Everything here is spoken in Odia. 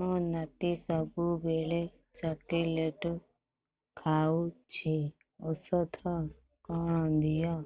ମୋ ନାତି ସବୁବେଳେ ଚକଲେଟ ଖାଉଛି ଔଷଧ କଣ ଦିଅ